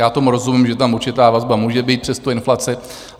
Já tomu rozumím, že tam určitá vazba může být přes tu inflaci.